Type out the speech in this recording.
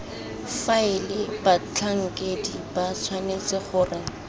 faela batlhankedi ba tshwanetse gore